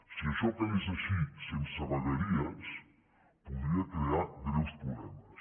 si això quedés així sense vegueries podria crear greus problemes